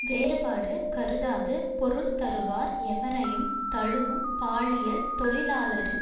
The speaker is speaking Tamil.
வேறுபாடு கருதாது பொருள் தருவார் எவரையும் தழுவும் பாலியல் தொழிலாளரின்